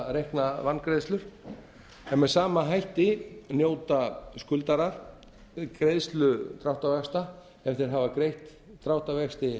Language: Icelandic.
dráttarvaxtareikna vangreiðslur með sama hætti njóta skuldarar greiðslu dráttarvaxta sem þeir hafa greitt dráttarvexti